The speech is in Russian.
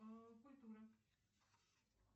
культура